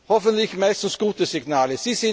Hoffentlich meistens gute Signale.